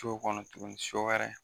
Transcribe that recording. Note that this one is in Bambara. Co kɔnɔ tuguni so wɛrɛ.